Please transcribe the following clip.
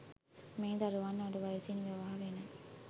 මේ දරුවන් අඩු වයසින් විවාහ වෙන